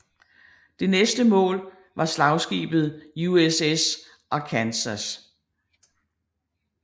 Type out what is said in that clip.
Det næste mål var slagskibet USS Arkansas